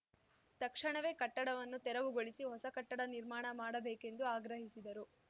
ತಕ್ಷಣವೇ ಕಟ್ಟಡವನ್ನು ತೆರವುಗೊಳಿಸಿ ಹೊಸ ಕಟ್ಟಡ ನಿರ್ಮಾಣ ಮಾಡಬೇಕೆಂದು ಆಗ್ರಹಿಸಿದರು